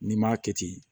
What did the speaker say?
N'i m'a kɛ ten